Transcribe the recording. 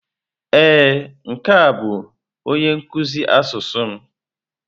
Ee, nke a bụ onye nkuzi asụsụ m?